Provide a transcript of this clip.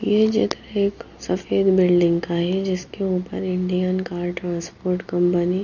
यह चित्र एक सफेद बिल्डिंग का है जिसके ऊपर इंडियन कार ट्रांसपोर्ट कंपनी --